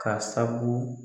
K'a sabu